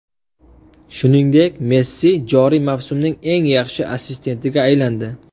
Shuningdek, Messi joriy mavsumning eng yaxshi assistentiga aylandi.